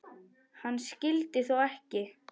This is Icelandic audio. Hann skyldi þó ekki.